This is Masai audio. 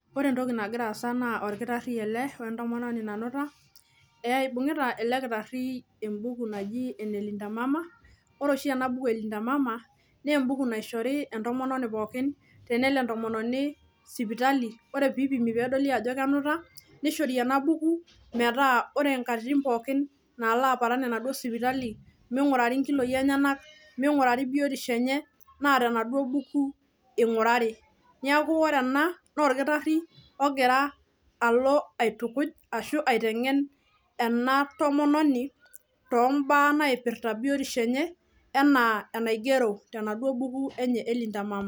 Ore entoki nagira aasa naa orkitari ele wentomononi nanuta ibungita elekitari embuku naji enelinda mama . Ore poshi enabuku elinda mama embuku nishori tenelo entomoni tenelo sipitali , ore pedoli ajo kenuta nishori enabuku , metaa ore nkatitin pookin nala aparan enaduo sipitali ,mingurari nkiloi enyenak , mingurari biotisho enye naa tenaduo buku ingurari niaku ore ena naa orkitari ogira alo aitukuj ashu aitekengen enatomononi tombaa naipirta biotisho enye enaa enaigero tenaduo buku enye elinda mama.